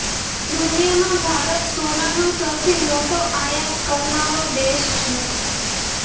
દુનિયામાં ભારત સોનાનો સૌથી મોટો આયાત કરનારો દેશ છે